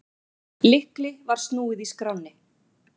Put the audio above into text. Lykli var snúið í skránni.